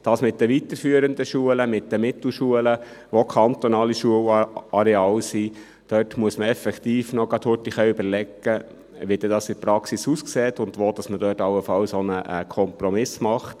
Bei den weiterführenden Schulen, den Mittelschulen, die auch kantonale Schulen sind, muss man effektiv noch schnell etwas überlegen, wie es in der Praxis aussieht und wo man dort allenfalls einen Kompromiss macht.